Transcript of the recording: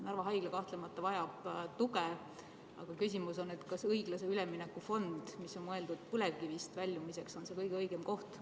Narva Haigla kahtlemata vajab tuge, aga küsimus on, kas õiglase ülemineku fond, mis on mõeldud põlevkivist loobumiseks, on kõige õigem koht, kust raha võtta.